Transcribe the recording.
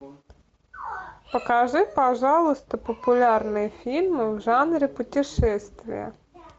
покажи пожалуйста популярные фильмы в жанре путешествия